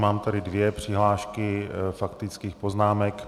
Mám tady dvě přihlášky faktických poznámek.